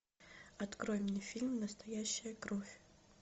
открой мне фильм настоящая кровь